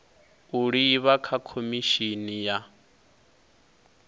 u livha kha khomishini ya